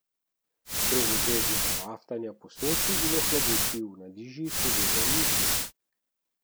Brez obveznega raftanja po Soči in ohladitvi v Nadiži seveda ni šlo.